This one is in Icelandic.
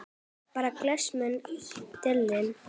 Bera glas mun delinn.